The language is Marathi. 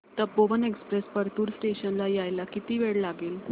तपोवन एक्सप्रेस परतूर स्टेशन ला यायला किती वेळ लागेल